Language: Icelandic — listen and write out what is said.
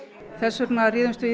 þess vegna réðumst við